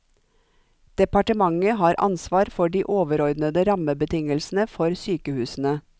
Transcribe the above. Departementet har ansvar for de overordnede rammebetingelsene for sykehusene.